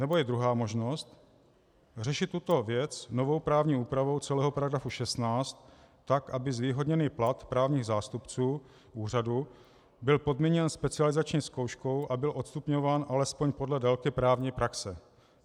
Nebo je druhá možnost - řešit tuto věc novou právní úpravou celého § 16 tak, aby zvýhodněný plat právních zástupců úřadu byl podmíněn specializační zkouškou a byl odstupňován alespoň podle délky právní praxe.